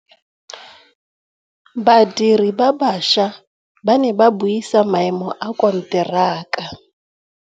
Badiri ba baša ba ne ba buisa maêmô a konteraka.